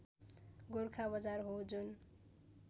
गोरखा बजार हो जुन